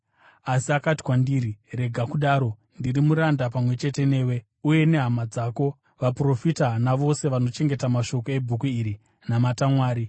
Asi akati kwandiri, “Rega kudaro! Ndiri muranda pamwe chete newe uye nehama dzako vaprofita navose vanochengeta mashoko ebhuku iri. Namata Mwari!”